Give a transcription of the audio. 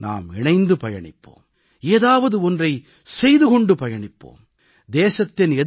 வாருங்கள் நாம் இணைந்து பயணிப்போம் ஏதாவது ஒன்றைச் செய்து கொண்டு பயணிப்போம்